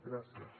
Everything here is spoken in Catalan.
gràcies